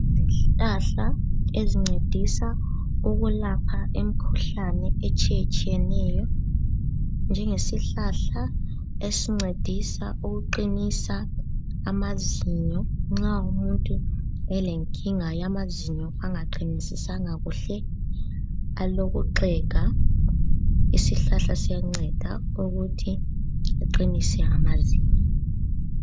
Izihlahla ezincedisa ukulapha imikhuhlane etshiyetshiyeneyo, njengesihlahla esincedisa ukuqinisa amazinyo nxa umuntu elenkinga yamazinyo angaqinisisanga kuhle alokuxega, isihlahla siyanceda ukuthi aqinise amazinyo.